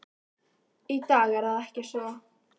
Í dag er það ekki svo.